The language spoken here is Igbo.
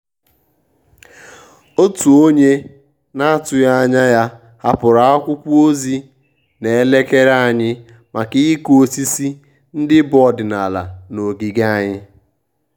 òtù ónyé nà-àtụ́ghị́ ányà yá hàpụ́rụ̀ ákwụ́kwọ́ ózì nà-ékélé ànyị́ màkà ị́kụ́ ósísí ndị́ bù ọ́dị́nàlà nà ògígè ànyị́.